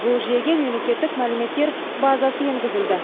бұл жүйеге мемлекеттік мәліметтер базасы енгізілді